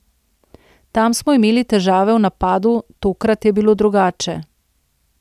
Tam smo imeli težave v napadu, tokrat je bilo drugače.